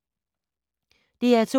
DR2